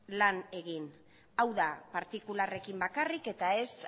lan egin hau da partikularrekin bakarrik eta ez